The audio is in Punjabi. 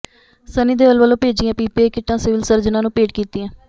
ਸੰਨੀ ਦਿਓਲ ਵੱਲੋਂ ਭੇਜੀਆਂ ਪੀਪੀਈ ਕਿੱਟਾਂ ਸਿਵਲ ਸਰਜਨ ਨੂੰ ਭੇਟ ਕੀਤੀਆਂ